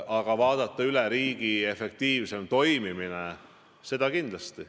Aga vaadata üle, kuidas riik võiks efektiivsemalt toimida – seda kindlasti.